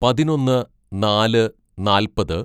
"പതിനൊന്ന് നാല് നാല്‍പത്‌